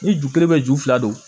Ni ju kelen bɛ ju fila don